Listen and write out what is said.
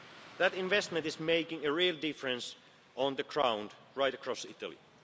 That investment is making a real difference on the ground, right across